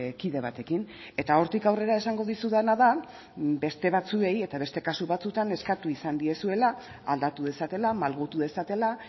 kide batekin eta hortik aurrera esango dizudana da beste batzuei eta beste kasu batzuetan eskatu izan diezuela aldatu dezatela malgutu dezatela